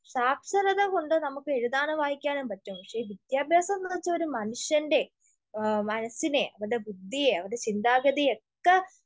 സാക്ഷരത കൊണ്ട് നമുക്ക് എഴുതാനോ വായിക്കാനോ പറ്റും. പക്ഷെ വിദ്യാഭ്യാസോന്ന് വെച്ചാ ഒരു മനുഷ്യൻ്റെ ഇഹ് മനസ്സിനെ, അവരുടെ ബുദ്ധിയെ, അവരുടെ ചിന്താഗതിയെ ഒക്കെ